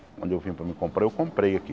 Quando eu vim para, eu comprei aqui.